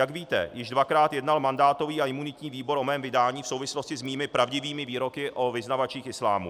Jak víte, již dvakrát jednal mandátový a imunitní výbor o mém vydání v souvislosti s mými pravdivými výroky o vyznavačích islámu.